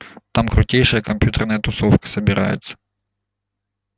там крутейшая компьютерная тусовка собирается